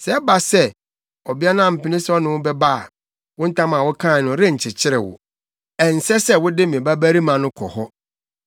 Sɛ ɛba sɛ, ɔbea no ampene sɛ ɔne wo bɛba a, wo ntam a wokae no nkyekyere wo. Ɛnsɛ sɛ wode me babarima no kɔ hɔ.”